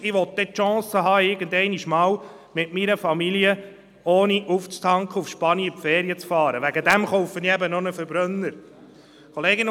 Die Motionäre erwähnen in der Motion China und Norwegen als Vorbilder.